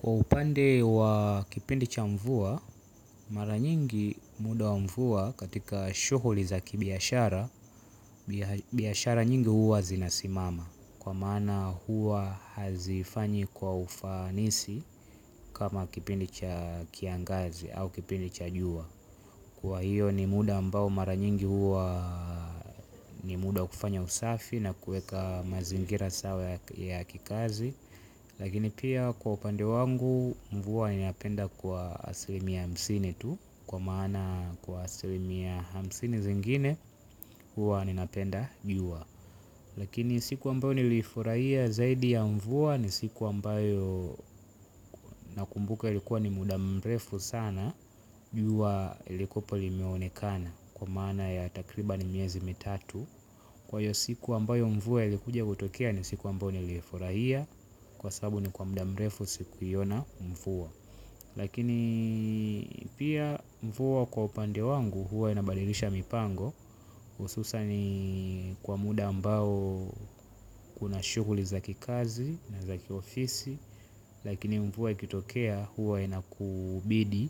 Kwa upande wa kipindi cha mvua, mara nyingi muda wa mvua katika shughuli za kibiashara, biashara nyingi huwa zinasimama. Kwa maana huwa hazifanyi kwa ufanisi kama kipindi cha kiangazi au kipindi cha jua. Kwa hivyo ni muda ambao mara nyingi huwa ni muda wa kufanya usafi na kuweka mazingira sawa ya kikazi. Lakini pia kwa upande wangu mvua ninapenda kwa asilimia hamsini tu. Kwa maana kwa asilimia hamsini zingine huwa ninapenda jua. Lakini siku ambayo niliifurahia zaidi ya mvua ni siku ambayo nakumbuka likuwa ni muda mrefu sana jua lilikwepo limeonekana kwa maana ya takriban miezi mitatu. Kwa hiyo siku ambayo mvua likuja kutokea ni siku ambayo nilifurahia. Kwa sababu ni kwa muda mrefu sikuiona mvua. Lakini pia mvua kwa upande wangu huwa inabadilisha mipango hususan kwa muda ambao kuna shughuli za kikazi na za kiofisi. Lakini mvua ikitokea huwa inakubidi